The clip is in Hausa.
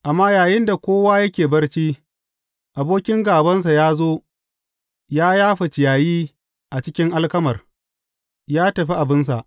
Amma yayinda kowa yake barci, abokin gābansa ya zo ya yafa ciyayi a cikin alkamar, ya tafi abinsa.